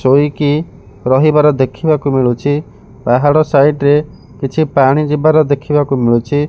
ଚୋଇକି ରହିବାର ଦେଖିବାକୁ ମିଳୁଛି। ବାହାର ସାଇଟି ରେ କିଛି ପାଣି ଯିବାର ଦେଖିବାକୁ ମିଳୁଛି।